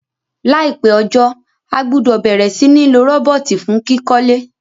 Láìpé ojó, a gbúdò bẹ̀rẹ̀ si ni lo robot fun kíkólé